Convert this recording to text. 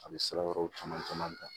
A bɛ sira wɛrɛw caman caman ta